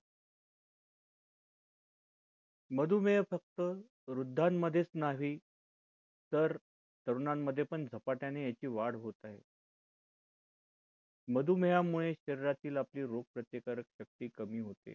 मधुमेह फक्त वृद्धां मध्येच नाही तर तरुणांमध्ये पण झपाट्याने याची वाढ होत आहे मधुमेह यामुळे शहरातील आपली रोग प्रतिकारक शक्ती कमी होते